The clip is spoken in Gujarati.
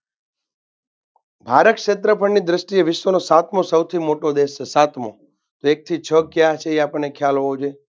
ભારત ક્ષેત્રફળની દૃષ્ટિએ વિશ્વનો સાતમો સૌથી મોટો દેશ છે, સાતમો. એક થી છ કયા છે તે આપણને ખ્યાલ હોવો જોઈએ.